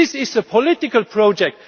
It is a political project.